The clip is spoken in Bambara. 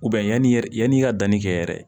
yanni yɛrɛ yanni i ka danni kɛ yɛrɛ